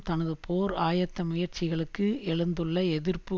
தனது போர் ஆயத்த முயற்சிகளுக்கு எழுந்துள்ள எதிர்ப்பு